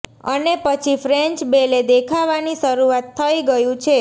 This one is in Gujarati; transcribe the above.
અને પછી ફ્રેન્ચ બેલે દેખાવાની શરૂઆત થઇ ગયું છે